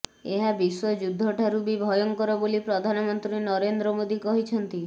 ଏହା ବିଶ୍ୱଯୁଦ୍ଧ ଠାରୁ ବି ଭୟଙ୍କର ବୋଲି ପ୍ରଧାନମନ୍ତ୍ରୀ ନରେନ୍ଦ୍ର ମୋଦୀ କହିଛନ୍ତି